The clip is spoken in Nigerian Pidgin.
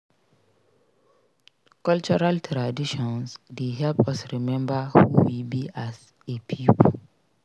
Cultural traditions dey help us remember who we be as a pipo.